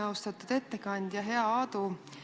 Austatud ettekandja, hea Aadu!